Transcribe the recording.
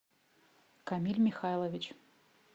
камиль михайлович